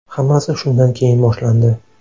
Hammasi shundan keyin boshlandi.